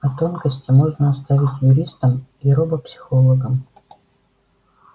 а тонкости можно оставить юристам и робопсихологам